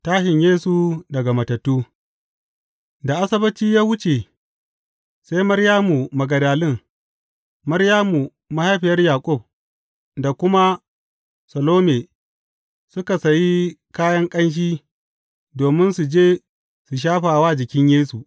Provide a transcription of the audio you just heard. Tashin Yesu daga matattu Da Asabbaci ya wuce, sai Maryamu Magdalin, Maryamu mahaifiyar Yaƙub, da kuma Salome suka sayi kayan ƙanshi domin su je su shafa wa jikin Yesu.